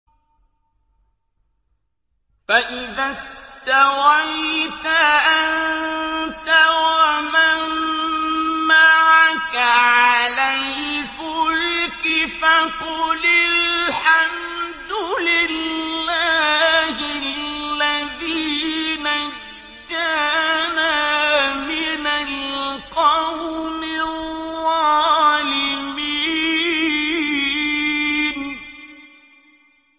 فَإِذَا اسْتَوَيْتَ أَنتَ وَمَن مَّعَكَ عَلَى الْفُلْكِ فَقُلِ الْحَمْدُ لِلَّهِ الَّذِي نَجَّانَا مِنَ الْقَوْمِ الظَّالِمِينَ